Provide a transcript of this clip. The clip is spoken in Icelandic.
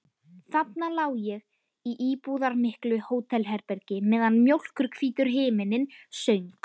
Þarna lá ég í íburðarmiklu hótelherbergi meðan mjólkurhvítur himinninn söng.